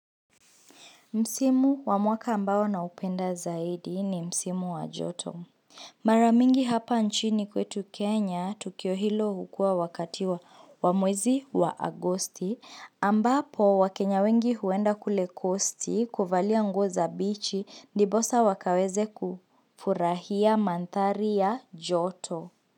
Msimu wa mwaka ambao naupenda zaidi ni msimu wa joto. Mara mingi hapa nchini kwetu Kenya, tukio hilo hukuwa wakati wa mwezi wa Agosti, ambapo wakenya wengi huenda kule coasti kuvalia nguo za beachi ndiposa wakaweze kufurahia mandhari ya joto.